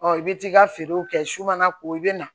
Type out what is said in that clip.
i bɛ t'i ka feerew kɛ su mana ko i bɛ na